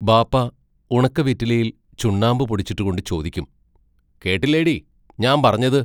ബാപ്പാ ഉണക്ക വൈറ്റിലയിൽ ചുണ്ണാമ്പു പൊടിച്ചിട്ടു കൊണ്ടു ചോദിക്കും: കേട്ടില്ലേടീ ഞാമ്പറഞ്ഞത്?